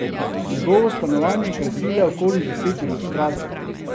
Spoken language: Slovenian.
Njegovo stanovanje krasi le okoli deset ilustracij.